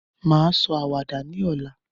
Mà á sọ àwàdà ní ọ̀la.